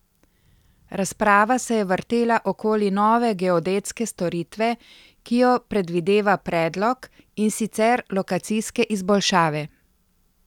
Razprava se je vrtela okoli nove geodetske storitve, ki jo predvideva predlog, in sicer lokacijske izboljšave.